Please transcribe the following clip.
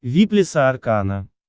вип леса аркана